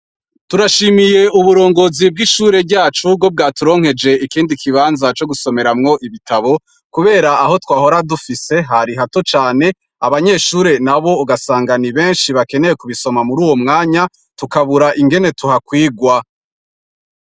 Turashimiye uburongozi bw'ishure ryacu ko bwaturonkeje ikindi kibanza cogusomeramwo ibitabo, kubera aho twahora dufise hari hato cane, abanyeshure nabo ugasanga ni benshi bakeneye kubisoma muruwo mwanya tukabura ingene tuhakwigwa.